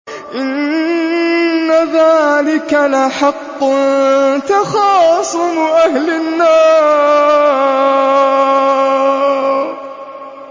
إِنَّ ذَٰلِكَ لَحَقٌّ تَخَاصُمُ أَهْلِ النَّارِ